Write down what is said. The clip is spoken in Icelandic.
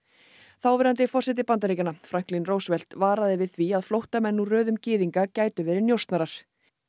þáverandi forseti Bandaríkjanna Franklin Roosevelt varaði við því að flóttamenn úr röðum gyðinga gætu verið njósnarar